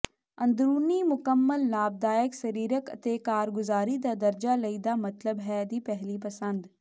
ਅੰਦਰੂਨੀ ਮੁਕੰਮਲ ਲਾਭਦਾਇਕ ਸਰੀਰਕ ਅਤੇ ਕਾਰਗੁਜ਼ਾਰੀ ਦਾ ਦਰਜਾ ਲਈ ਦਾ ਮਤਲਬ ਹੈ ਦੀ ਪਹਿਲੀ ਪਸੰਦ